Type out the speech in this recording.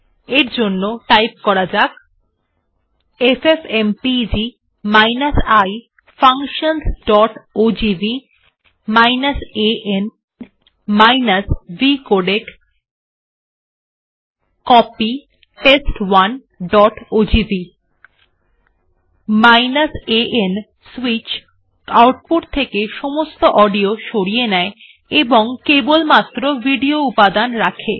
এর জন্য টাইপ করা যাক এফএফএমপেগ i functionsওজিভি an vcodec কপি test1ওজিভি an সুইচ আউটপুট থেকে সমস্ত অডিও সরিয়ে দেয় এবং কেবলমাত্র ভিডিও উপাদান রাখে